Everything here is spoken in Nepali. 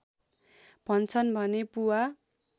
भन्छन् भने पुवा